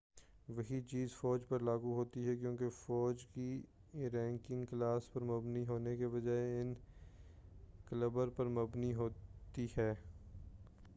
وہی چیز فوج پر لاگو ہوتی ہے کیونکہ فوج کی رینکنگ کلاس پر مبنی ہونے کے بجائے اب کیلبر پر مبنی ہوتی ہے